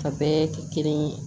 A bɛɛ kɛ kelen ye